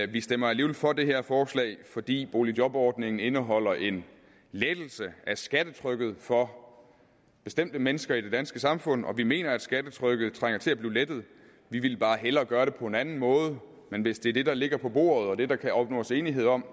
vi stemmer alligevel for det her forslag fordi boligjobordningen indeholder en lettelse af skattetrykket for bestemte mennesker i det danske samfund og vi mener at skattetrykket trænger til at blive lettet vi ville bare hellere gøre det på en anden måde men hvis det er det der ligger på bordet og er det der kan opnås enighed om